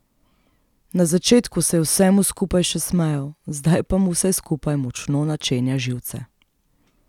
Na začetku se je vsemu skupaj še smejal, zdaj pa mu vse skupaj močno načenja živce.